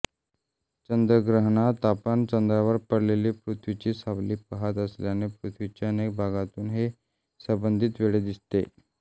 चंद्रग्रहणात आपण चंद्रावर पडलेली पृथ्वीची सावली पहात असल्याने पृथ्वीच्या अनेक भागातून हे संबंधित वेळी दिसते